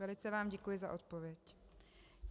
Velice vám děkuji za odpověď.